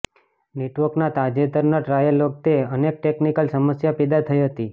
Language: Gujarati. નેટવર્કના તાજેતરના ટ્રાયલ વખતે અનેક ટેક્નિકલ સમસ્યા પેદા થઈ હતી